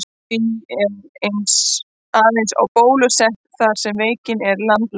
Því er aðeins bólusett þar sem veikin er landlæg.